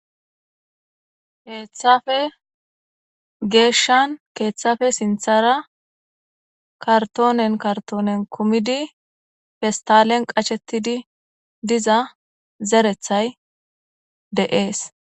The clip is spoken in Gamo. heeththafe geeshshan keeththafe sinthara kartoonen kartoonen kumidi festalen qachettidi diza zerethay deees